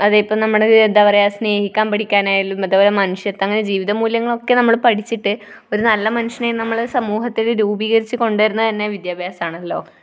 അതെ ഇപ്പം എന്താ പറയുക, നമ്മൾ സ്‌നേഹിക്കാൻ പഠിക്കാനായാലും അതുപോലെ മനുഷ്യത്വം അതുപോലെ ജീവിതമൂല്യങ്ങളൊക്കെ നമ്മൾ പഠിച്ചിട്ട് ഒരു നല്ല മനുഷ്യനായി നമ്മൾ സമൂഹത്തിൽ രൂപീകരിച്ചുകൊണ്ടുവരുന്നതുതന്നെ വിദ്യാഭ്യാസമാണല്ലോ.